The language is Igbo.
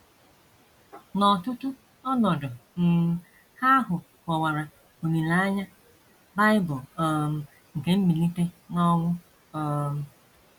N’ọtụtụ ọnọdụ um Ha ahụ kọwara olileanya Bible um nke mbilite n’ọnwụ um.